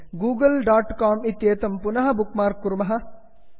Google dot com इत्येतत् पुनः bookmark कुर्मः